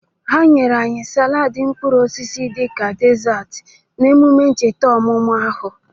Ha nyere anyị salaadị mkpụrụosisi dịka desarti n' emume ncheta ọmụmụ ahụ.